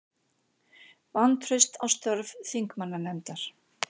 Vantraust á störf þingmannanefndar